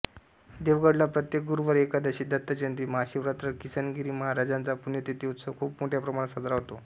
देवगडला प्रत्येक गुरूवार एकादशी दत्तजयंती महाशिवरात्र किसनगिरी महाराजांचा पुण्यतिथी उत्सव खूप मोठ्या प्रमाणात साजरा होतो